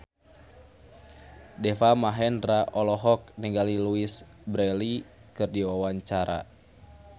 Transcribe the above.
Deva Mahendra olohok ningali Louise Brealey keur diwawancara